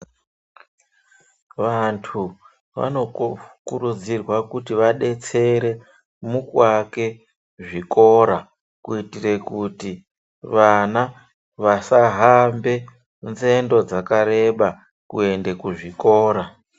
Vantu vano kurudzirwa kuti vadetsere muku ake zvikora kuitire kuti vana vasa hambe nzendo dzaka reba kuende ku zvikora.